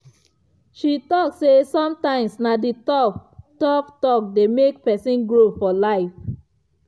she talk say sometimes na the tough-tough talk dey make person grow for life.